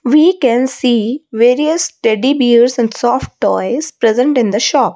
we can see various teddy bears and soft toys present in the shop.